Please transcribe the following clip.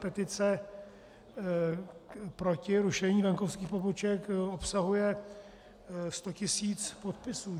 Petice proti rušení venkovských poboček obsahuje 100 tisíc podpisů.